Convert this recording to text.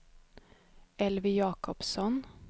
Elvy Jakobsson